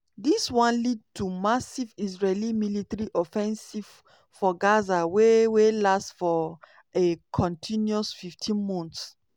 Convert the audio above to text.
dis one lead to massive israeli military offensive for gaza wey wey last for a continuous 15 months.